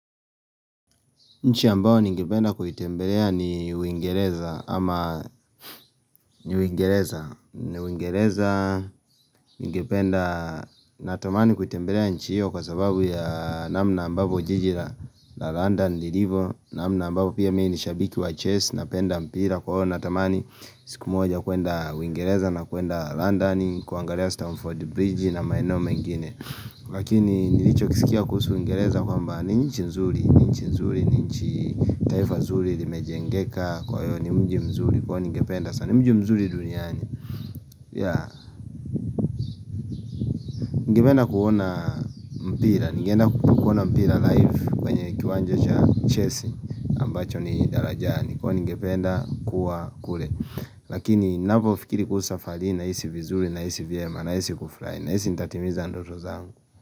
Nchi ambayo ningipenda kuitembelea ni uingereza ama ni uingereza ni uingereza, ningependa, natamani kuitembelea nchi hiyo kwa sababu ya namna ambapo jiji la London lilivo namna ambapo pia mimi ni shabiki wa Chelsea napenda mpira kwa hiyo natamani siku moja kuenda uingereza na kuenda London kuangalia Stamford Bridge na maeneyo mengine Lakini nilichokisikia kuhusu uingereza kwamba ni nchi nzuri, ni nchi nzuri, ni nchi taifa zuri Limejengeka kwa hiyo ni mji mzuri Kwani ningependa sana, ni mji mzuri duniani ya, ningependa kuona mpira ningependa kuona mpira live kwenye kiwanja cha Chelsea ambacho ni darajani Kwanii ningependa, kuwa kule Lakini napofikiri kuhusu safari hii na hisi vizuri, na hisi vyema, na hisi kufurahi na hisi nitatimiza ndoto zangu.